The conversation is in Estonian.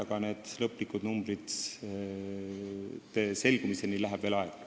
Aga lõplike numbrite selgumiseni läheb veel aega.